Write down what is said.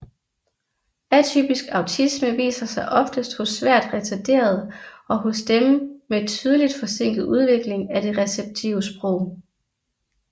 Atypisk autisme viser sig oftest hos svært retarderede og hos dem med tydelig forsinket udvikling af det receptive sprog